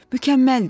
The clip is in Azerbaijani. Mükəmməldir.